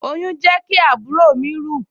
Oyún jẹ́ kí àbúrò mi rù